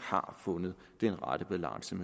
har fundet den rette balance